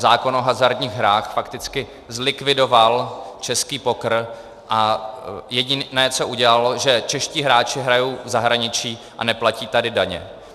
Zákon o hazardních hrách fakticky zlikvidoval český poker a jediné, co udělal, že čeští hráči hrají v zahraničí a neplatí tady daně.